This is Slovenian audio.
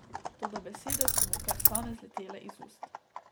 Toda besede so mu kar same zletele iz ust.